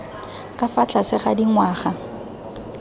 ka fa tlase ga dingwaga